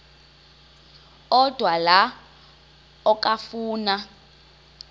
odwa la okafuna